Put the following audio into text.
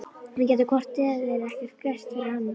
Við gætum hvort eð er ekkert gert fyrir hann.